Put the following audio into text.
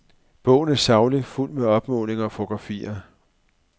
Bogen er saglig, fuldt med opmålinger og fotografier.